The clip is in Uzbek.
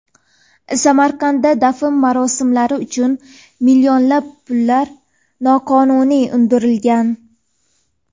Samarqandda dafn marosimlari uchun millionlab pullar noqonuniy undirilgan.